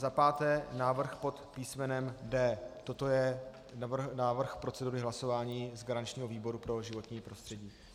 Za páté návrh pod písmenem D. Toto je návrh procedury hlasování z garančního výboru pro životní prostředí.